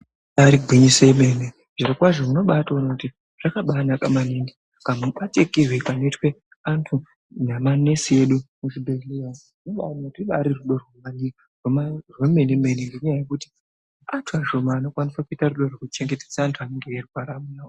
Ibari gwinyiso remene zviro kwazvo unotoona kuti zvakabanaka maningi kamubatikirwe kanoitwe vantu nemanesi edu muzvibhehleya rubari rudo remenemene nenyaya yekuti vantu ashomane vanokwanisa kuuita rudo rochengetedza vantu vanenge veirwara.